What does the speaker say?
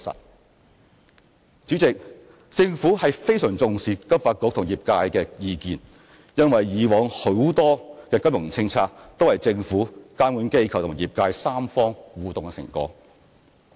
代理主席，政府非常重視金發局與業界的意見，因為以往很多金融政策都是政府、監管機構及業界三方互動的成果。